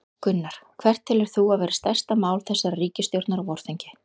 Gunnar: Hvert telur þú að verði stærsta mál þessarar ríkisstjórnar á vorþingi?